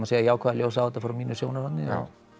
segja jákvæðu ljósi á þetta frá mínu sjónarhorni